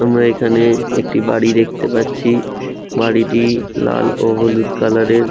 তোমরা এখানে একটি বাড়ি দেখতে পাচ্ছি বাড়িটি লাল ও হলুদ কালার এর।